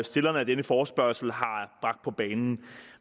stillerne af denne forespørgsel har bragt på banen